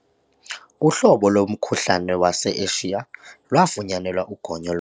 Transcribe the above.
Uhlobo lomkhuhlane wase-Eshiya lwafunyanelwa ugonyo.